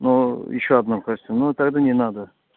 но ещё одного костюм ну тогда не надо